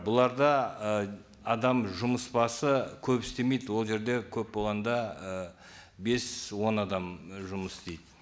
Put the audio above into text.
бұларда ы адам жұмыс басы көп істемейді ол жерде көп онда і бес он адам і жұмыс істейді